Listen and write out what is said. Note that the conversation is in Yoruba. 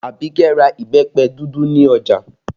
Abike ra ìbẹ́pẹ dúdú ní ọjà